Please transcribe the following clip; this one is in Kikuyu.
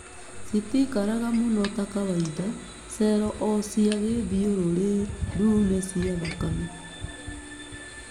Citikaraga mũno ta kawaida, cell o cia gĩthiũrũrĩ ndune cia thakame.